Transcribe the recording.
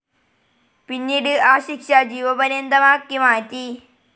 പിന്നീട് ആ ശിക്ഷ ജീവപര്യന്തമാക്കി മാറ്റി.